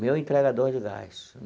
Meu entregador de gás.